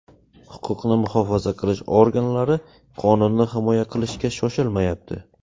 Huquqni muhofaza qilish organlari qonunni himoya qilishga shoshilmayapti.